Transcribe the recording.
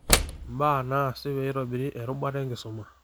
Mbaa naasi peitoborri erubata enkisuma.